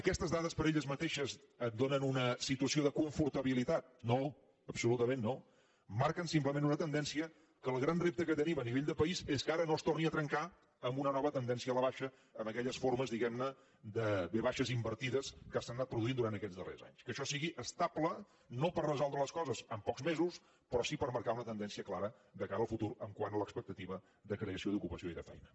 aquestes dades per elles mateixes et donen una situació de confortabilitat no absolutament no marquen simplement una tendència que el gran repte que tenim a nivell de país és que ara no es torni a trencar amb una nova tendència a la baixa amb aquelles formes diguem ne de ve baixes invertides que s’han anat produint durant aquests darrers anys que això sigui estable no per resoldre les coses en pocs mesos però sí per marcar una tendència clara de cara al futur quant a l’expectativa de creació d’ocupació i de feina